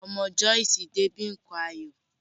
Ọmọ Joyce dé bi nkan ayọ̀.